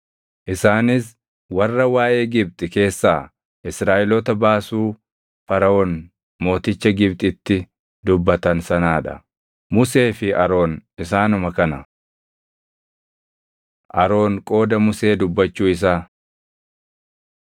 Isaanis warra waaʼee Gibxi keessaa Israaʼeloota baasuu Faraʼoon mooticha Gibxitti dubbatan sanaa dha. Musee fi Aroon isaanuma kana. Aroon Qooda Musee Dubbachuu Isaa